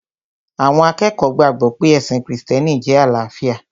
Àwọn akẹ́kọ̀ọ́ gbàgbọ̀ pé ẹ̀sìn krìstẹ́nì jẹ́ àlàáfíà